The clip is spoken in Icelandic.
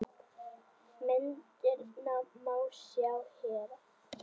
Myndirnar má sjá hér